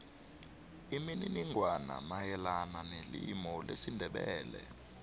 imininingwana mayelana nelimu lesindebele